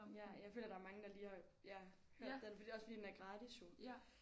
Ja jeg føler der er mange der lige har ja hørt den fordi det også fordi den er gratis jo